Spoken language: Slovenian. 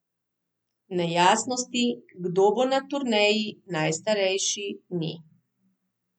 Nejasnosti, kdo bo na turneji najstarejši, ni.